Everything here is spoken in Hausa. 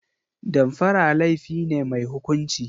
Damfara laifi ne mai hukunci.